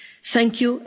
thank you